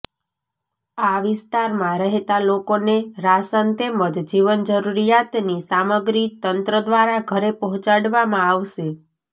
આ વિસ્તારમાં રહેતા લોકો ને રાશન તેમજ જીવનજરૂરિયાતની સામગ્રી તંત્ર દ્વારા ઘરે પહોંચાડવામાં આવશે